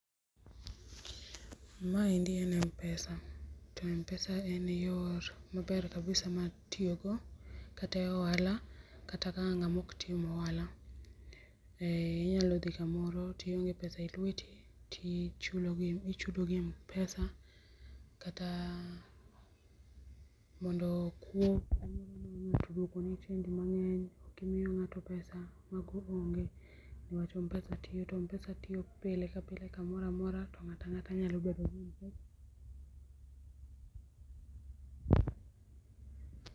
maendi en mpesa to mpesa en yor yo maber kabisa mar tiyogo kata ohala kata ka ng'ama ok tim ohala. Ee Inyalo dhi maoro tionge pesa elweti tichulo gi tichudo gi mpesa kata mondo kang'ato duoko ni chenj mang'eny ok imiyo ng'ato pesa mago onge but mpesa tiyo to mpesa tiyo pile kamoro amora to ng'ata ang'ata nyalo.